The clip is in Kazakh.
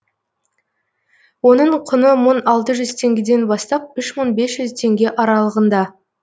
оның құны мың алтыз жүз теңгеден бастап үш мың бес жүз теңге аралығында